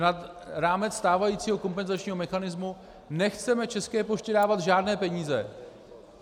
Nad rámec stávajícího kompenzačního mechanismu nechceme České poště dávat žádné peníze.